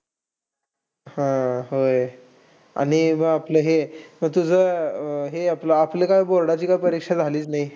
हा, होय. आणि मग आपलं हे, अह तुझं, अह हे आपलं आपलं काय board ची परीक्षा झालीच नाही.